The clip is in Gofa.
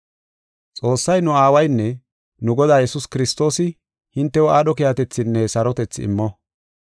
Xoossay nu Aawaynne nu Godaa Yesuus Kiristoosi hintew aadho keehatethaanne sarotethaa immo.